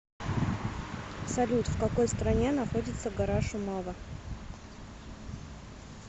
салют в какой стране находится гора шумава